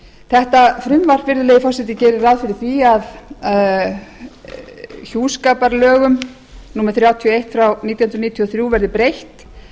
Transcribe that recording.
þetta frumvarp virðulegi forseti gerir ráð fyrir að hjúskaparlögunum númer þrjátíu og eitt nítján hundruð níutíu og þrjú verði breytt